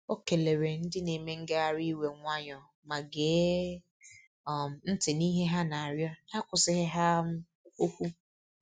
Ọ keleere ndị na-eme ngagharị iwe nwayọọ ma gee um ntị n’ihe ha na-arịọ n'akwụsịghị ha um okwu.